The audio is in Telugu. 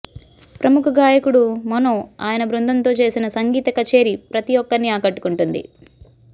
ప్రముఖ గాయకుడు మనో ఆయన బృందంతో చేసిన సంగీత కచేరి ప్రతి ఒక్కరినీ ఆకట్టుకుంది